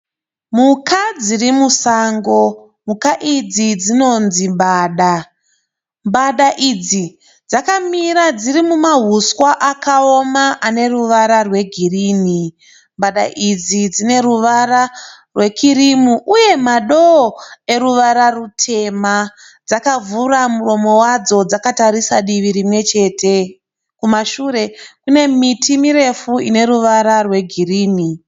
Mhuka dziriri musango. Mhuka idzi dzinonzi mbada. Mbada idzi dzakamira dziri mumahuswa akaoma ane ruvara rwegirinhi. Mbada idzi dzineruvara rwekirimu uye madoo eruvara rutema. Dzakavhura muromo wadzo dzakatarisa divi rimwe chete. Kumashure kune miti mirefu ine ruvara rwe girinhi.